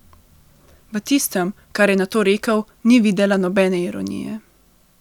V tistem, kar je nato rekel, ni videla nobene ironije.